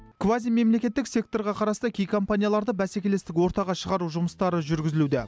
квазимемлекеттік секторға қарасты кей компанияларда бәсекелестік ортаға шығару жұмыстары жүргізілуде